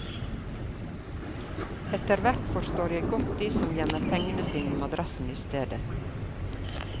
Etterhvert forstår jeg godt de som gjemmer pengene sine i madrassen istedet.